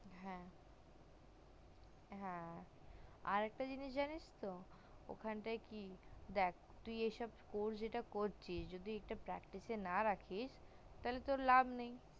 হ্যা হ্যা আরেকটা জিনিস জানিস তো ওখানটায় কি দেখ তুই যে এইসব course যেটা করছিস তুই যদি এইসব practice না রাখিস তালে তোর লাভ নেই